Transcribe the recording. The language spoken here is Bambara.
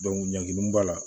ɲagami b'a la